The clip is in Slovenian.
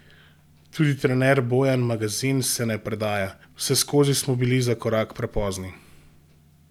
Tudi trener Bojan Magazin se ne predaja: "Vseskozi smo bili za korak prepozni.